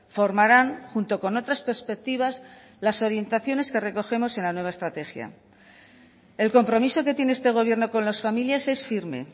formarán junto con otras perspectivas las orientaciones que recogemos en la nueva estrategia el compromiso que tiene este gobierno con las familias es firme